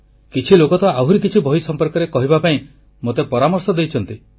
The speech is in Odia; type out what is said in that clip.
କିଛି ଲୋକ ତ ଆହୁରି କିଛି ବହି ସମ୍ପର୍କରେ କହିବା ପାଇଁ ମୋତେ ପରାମର୍ଶ ଦେଇଛନ୍ତି